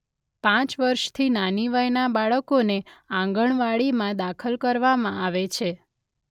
પાંચ વર્ષથી નાની વયનાં બાળકોને આંગણવાડીમાં દાખલ કરવામાં આવે છે.